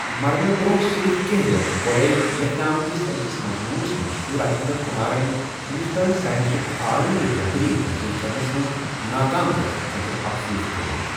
مرنہٕ برٛونٛہہ صِرِف کینٛہہ رٮ۪تھ گۄڈَے لٮ۪کھنہٕ آمتِس أکِس مضموٗنس منٛز چُھ راجِنٛدر کُمارن ہِنٛدُستٲنی ساینَسُک عالمی رہبٔری حٲصِل کرنس منٛز ناکام گَژھنہٕ خٲطرٕ افسوس کوٚرمُت۔